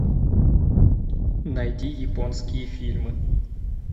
найди японские фильмы